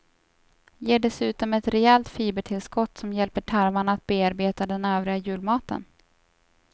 Ger dessutom ett rejält fibertillskott som hjälper tarmarna att bearbeta den övriga julmaten.